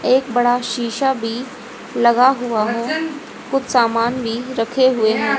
एक बड़ा शीशा भी लगा हुआ है कुछ सामान भी रखे हुए--